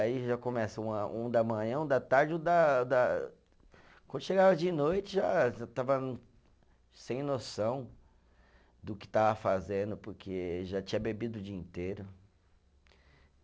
Aí já começa uma, um da manhã, um da tarde, um da, da quando chegava de noite, já estava sem noção do que estava fazendo, porque já tinha bebido o dia inteiro.